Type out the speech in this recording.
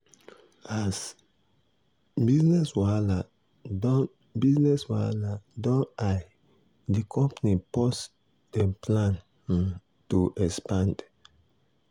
as business wahala don business wahala don high di company pause dem plan um to expand.